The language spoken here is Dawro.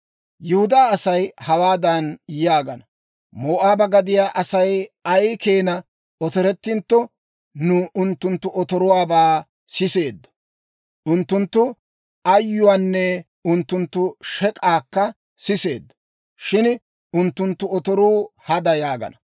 Yihudaa Asay hawaadan yaagana; «Moo'aaba gadiyaa Asay ay keenaa otorettintto, nu unttunttu otoruwaabaa siseeddo; unttunttu ayyuwaanne unttunttu shek'aakka siseeddo; shin unttunttu otoruu hada» yaagana.